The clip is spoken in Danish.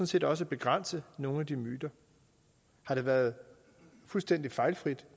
set også begrænse nogle af de myter har det været fuldstændig fejlfrit